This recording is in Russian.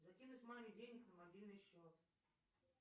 закинуть маме денег на мобильный счет